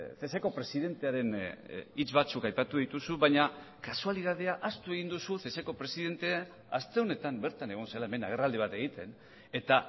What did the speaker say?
ceseko presidentearen hitz batzuk aipatu dituzu baina kasualitatea ahaztu egin duzu ceseko presidente aste honetan bertan egon zela hemen agerraldi bat egiten eta